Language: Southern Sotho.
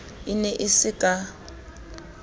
e ne e se ka